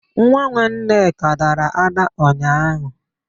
Nwa Nneka dara ada ụnyaahụ.